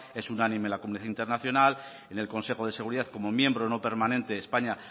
es unánime en la comunidad internacional en el consejo de seguridad como miembro no permanente españa